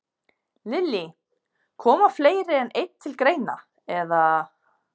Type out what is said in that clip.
Lillý: Koma fleiri en einn til greina, eða?